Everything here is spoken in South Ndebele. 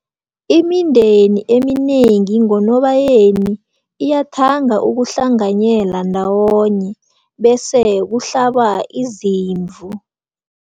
Imindeni eminengi ngoNobayeni iyathanda ukuhlanganyela ndawonye bese kuhlabwa izimvu.